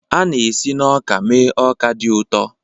A na-esi na ọka mee ọka dị ụtọ.